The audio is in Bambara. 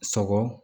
Sɔgɔ